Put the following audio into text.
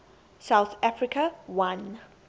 south africa won